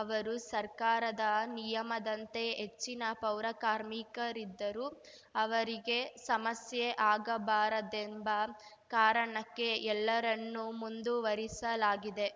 ಅವರು ಸರ್ಕಾರದ ನಿಯಮದಂತೆ ಹೆಚ್ಚಿನ ಪೌರಕಾರ್ಮಿಕರಿದ್ದರೂ ಅವರಿಗೆ ಸಮಸ್ಯೆ ಆಗಬಾರದೆಂಬ ಕಾರಣಕ್ಕೆ ಎಲ್ಲರನ್ನೂ ಮುಂದುವರಿಸಲಾಗಿದೆ